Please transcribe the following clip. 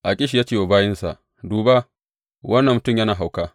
Akish ya ce wa bayinsa, Duba, wannan mutum yana hauka.